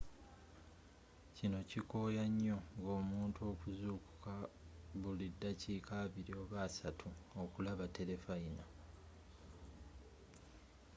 kino kikoya nyo ng'omuntu okuzzukuka buli ddakika abili oba assatu okulaba telefayina